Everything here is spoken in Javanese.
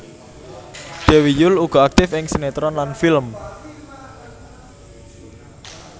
Dewi Yull uga aktif ing sinetron lan film